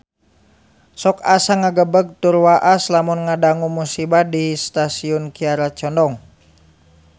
Sok asa ngagebeg tur waas lamun ngadangu musibah di Stasiun Kiara Condong